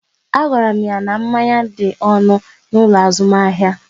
A gwara m ya n'manya dị ọnụ ala n'ụlọ azụmahịa